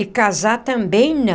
E casar também não.